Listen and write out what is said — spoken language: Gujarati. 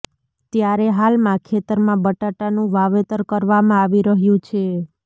ત્યારે હાલમાં ખેતરમાં બટાટાનું વાવેતર કરવામાં આવી રહ્યું છે